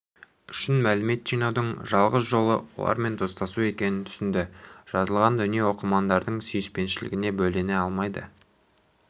үшін мәлімет жинаудың жалғыз жолы олармен достасу екенін түсінді жазылған дүние оқырмандардың сүйіспеншілігіне бөлене алмайды